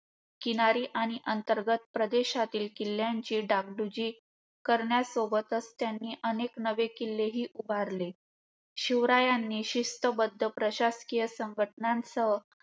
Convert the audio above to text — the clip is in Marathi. किनारी आणि अंतर्गत प्रदेशातील किल्यांची डागडुजी करण्यासोबतचं, त्यांनी अनेक नवे किल्लेही उभारले. शिवरायांनी शिस्तबद्ध प्रशाकीय संघटनासह,